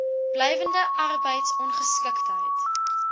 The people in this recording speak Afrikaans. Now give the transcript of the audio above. blywende arbeids ongeskiktheid